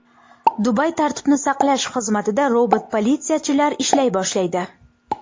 Dubay tartibni saqlash xizmatida robot politsiyachilar ishlay boshlaydi.